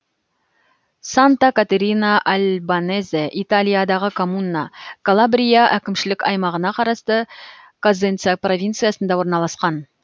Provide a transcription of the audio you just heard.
санта катерина альбанезе италиядағы коммуна калабрия әкімшілік аймағына қарасты козенца провинциясында орналасқан